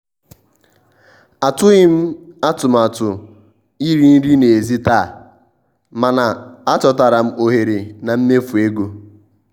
atụghị m atụmatụ iri nri n'èzí taa mana achọtara m ohere na mmefu ego.